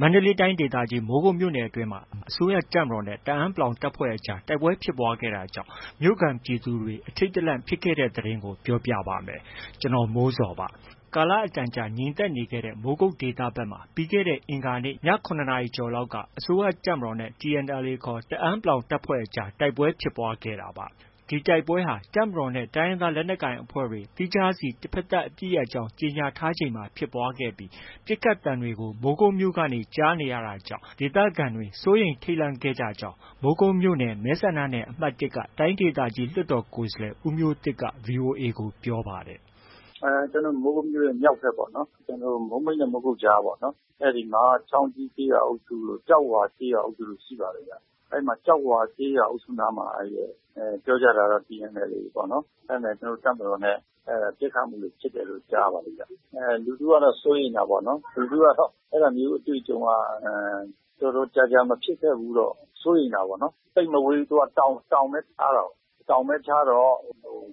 မန္တလေးတိုင်းဒေသကြီး မိုးကုတ်မြို့နယ်အတွင်းမှာ အစိုးရတပ်မတော်နဲ့ တအန်း တပ်ဖွဲ့အကြား တိုက်ပွဲဖြစ်ပွားခဲ့တာကြောင့် မိုးကုတ်မြို့ပေါ်က ပြည်သူတွေ အထိတ်တလန့်ဖြစ်ခဲ့တဲ့သတင်းကို ဗွီအိုအေမြန်မာပိုင်း သတင်းထောက် ကိုမိုးဇော်က ပြောပြပေးပါမယ်။ ကာလအတော်ကြာ ငြိမ်သက်နေခဲ့တဲ့ မိုးကုတ်ဒေသဘက်မှာ ပြီးခဲ့တဲ့ အင်္ဂါနေ့ ည ၇ နာရီလောက်က အစိုးရတပ်မတော်နဲ့ TNLA ခေါ် တအန်း တပ်ဖွဲ့အကြား တိုက်ပွဲဖြစ်ပွားခဲ့တာပါ။ ဒီတိုက်ပွဲဟာ တပ်မတော်နဲ့ တိုင်းရင်းသား လက်နက်ကိုင်အဖွဲ့တွေက သီးခြားစီ တဘက်သတ်အပစ်ရပ်ကြောင်း ကြေညာထားချိန်မှာပဲ ဖြစ်ပွားခဲ့ပြီး ပစ်ခတ်သံတွေကို မိုးကုတ်မြို့ကနေ ကြားနေရတာကြောင့် ဒေသခံတွေ စိုးရိမ်ထိတ်လန့်ခဲ့ကြကြောင်း မိုးကုတ်မြို့နယ်က မဲဆန္ဒနယ်အမှတ် ၁ က တိုင်းဒေသကြီးလွှတ်တော် ကိုယ်စားလှယ် ဦးမျိုးသစ်က VOA ကို ပြောပါတယ်။ “ကျနော်တို့ မိုးကုတ်မြို့ရဲ့ မြောက်ဘက် မိုးမိတ်နဲ့ မိုးကုတ်ကြားပေါ့။ အဲဒီမှာ ချောင်းကြီးကျေးရွာအုပ်စုတို့၊ ကျောက်ဝါ ကျေးရွာအုပ်စုတို့ ရှိပါတယ်ဗျ။ အဲဒီမှာ ကျောက်ဝါကျေးရွာအုပ်စုနားမှာ ပြောတာတော့ TNLA ပေါ့နော်။ အဲဒါနဲ့ တပ်မတော်နဲ့ ပစ်ခတ်မှုတွေဖြစ်တယ်လို့ ကြားရပါတယ်။ လူထုကတော့ စိုးရိမ်တာပေါ့နော်။ လူထုကတော့ အဲဒါမျိုးအတွေ့အကြုံက တော်တော်ကြာကြာ မဖြစ်ခဲ့ဘူးတော့ စိုးရိမ်တာပေါ့နော်။ သိပ်မဝေးဘူး။ သူက တောင်ပဲ ခြားတာကိုး။ တောင်ပဲခြားတော့